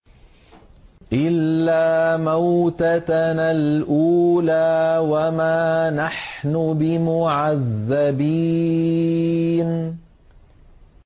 إِلَّا مَوْتَتَنَا الْأُولَىٰ وَمَا نَحْنُ بِمُعَذَّبِينَ